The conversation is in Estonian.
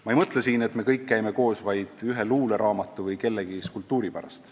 Ma ei mõtle siin, et me kõik käime koos vaid ühe luuleraamatu või kellegi skulptuuri pärast.